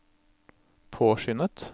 påskyndet